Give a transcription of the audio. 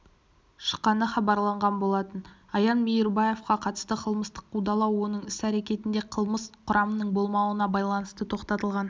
шыққаны хабарланған болатын аян мейірбаевқа қатысты қылмыстық қудалау оның іс-әрекетінде қылмыс құрамының болмауына байланысты тоқтатылған